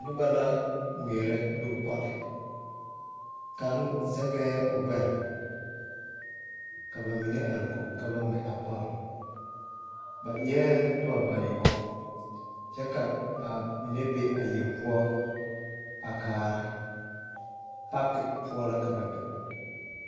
Noba la gmɛɛrɛ nubɔl ka kaŋ zɛge o gbɛre kyɛ ka ba mine aregu ka ba gmɛ a bɔl. Ba e la niŋbayɔɔ kyɛ ka ba mine ziŋ a konkogreŋ kaara. Pakepʋɔ la ka ba be